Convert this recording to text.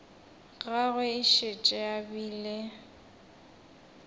gagwe e šetše e bile